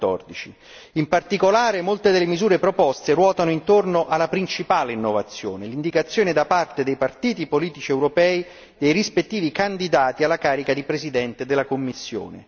2014. In particolare, molte delle misure proposte ruotano intorno alla principale innovazione, l'indicazione da parte dei partiti politici europei dei rispettivi candidati alla carica di Presidente della Commissione.